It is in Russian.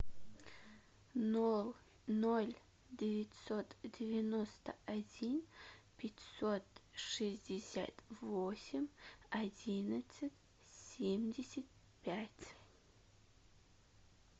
ноль девятьсот девяносто один пятьсот шестьдесят восемь одиннадцать семьдесят пять